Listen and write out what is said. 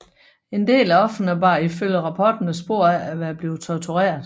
En del af ofrerne bar ifølge rapporterne spor af at være blevet tortureret